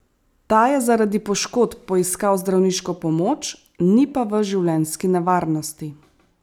Ta je zaradi poškodb poiskal zdravniško pomoč, ni pa v življenjski nevarnosti.